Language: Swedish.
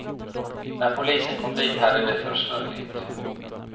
När polisen kom dit hade de försvunnit.